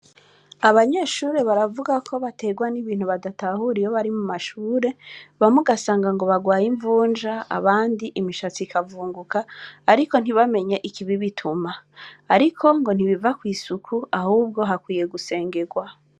Abanyeshure baravuga ko baterwa n'ibintu badatahura iyo bari mu mashure, bamwe ugasanga ngo bagwaye imvunja, abandi imishatsi ikavunguka, ariko ntibamenye ikibibituma, ariko ngo ntibiva kw'isuku ahubwo hakwiye gusengegwa.